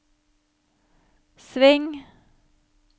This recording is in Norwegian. sving